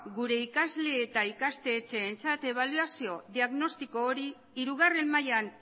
gure ikasle eta ikastetxeentzat ebaluazio diagnostiko hori hirugarren mailan